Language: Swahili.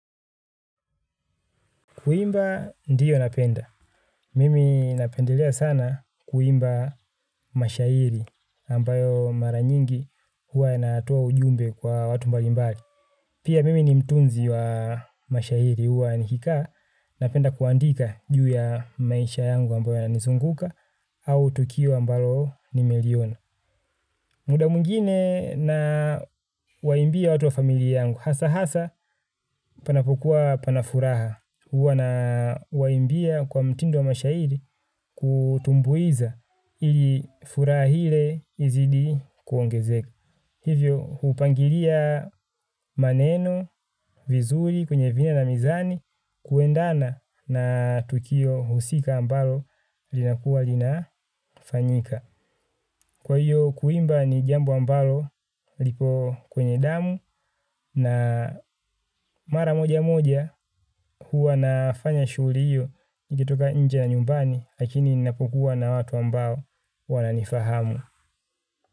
Kuimba ndiyo napenda. Mimi napendelea sana kuimba mashairi ambayo mara nyingi huwa inatoa ujumbe kwa watu mbali mbali. Pia mimi ni mtunzi wa mashairi huwa nikikaa napenda kuandika juu ya maisha yangu ambayo ya nizunguka au tukio ambayo nimeliona. Muda mwngine na waimbia watu wa familia yangu hasa hasa panapokuwa pana furaha huwa nawaimbia kwa mtindo wa mashairi kutumbuiza ili furaha ile izidi kuongezeka. Hivyo hupangilia maneno vizuri kwenye vina na mizani kuendana na tukio husika ambalo linakuwa linafanyika. Kwa hiyo kuimba ni jambo ambalo lipo kwenye damu na mara moja moja huwa nafanya shughli hiyo nikitoka inje ya nyumbani lakini ninapokuwa na watu ambao wananifahamu.